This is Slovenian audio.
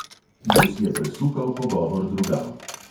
Gus je presukal pogovor drugam.